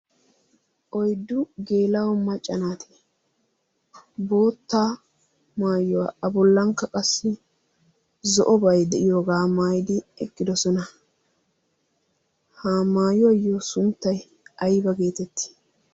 oyddu geela'o maccanaati bootta maayuwaa a bollankka qassi zo'o bay de'iyoogaa maayidi eqqidosona ha maayuwaayyo sunttai aiba geetetti?